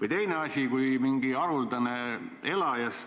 Või teine asi: kui on mingi haruldane elajas,